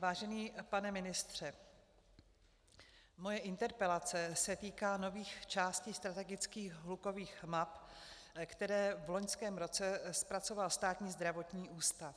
Vážený pane ministře, moje interpelace se týká nových částí strategických hlukových map, které v loňském roce zpracoval Státní zdravotní ústav.